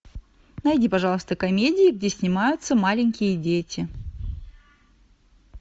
найди пожалуйста комедии где снимаются маленькие дети